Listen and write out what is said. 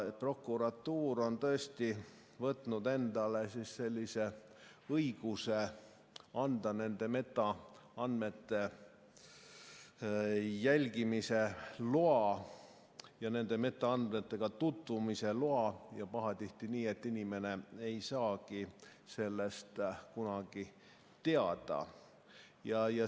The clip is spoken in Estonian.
Prokuratuur on tõesti võtnud endale sellise õiguse anda nende metaandmete jälgimise loa ja nende metaandmetega tutvumise loa ning pahatihti nii, et inimene ise ei saagi sellest kunagi teada.